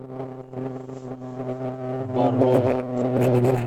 барон